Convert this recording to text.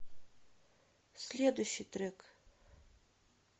следующий трек